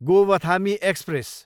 Gowthami express